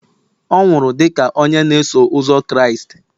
ọ nwụrụ dị ka onye na-eso ụzọ Kraịst